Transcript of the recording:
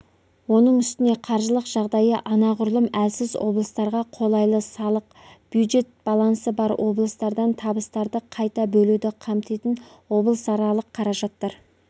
оның үстіне қаржылық жағдайы анағұрлым әлсіз облыстарға қолайлы салық-бюджет балансы бар облыстардан табыстарды қайта бөлуді қамтитын облысаралық қаражаттар